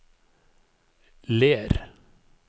Ler